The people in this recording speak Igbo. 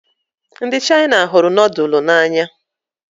Ndị Chaina hụrụ nudulu n'anya